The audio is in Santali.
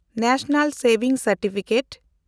ᱱᱮᱥᱱᱟᱞ ᱥᱮᱵᱷᱤᱝ ᱥᱟᱨᱴᱤᱯᱷᱤᱠᱮᱴ